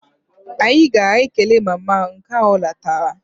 Anyị gara kelee mama m ka ọ lọtara